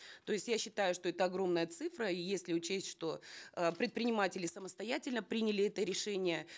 то есть я считаю что это огромная цифра и если учесть что э предприниматели самостоятельно приняли это решение